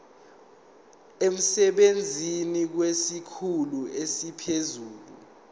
emsebenzini kwesikhulu esiphezulu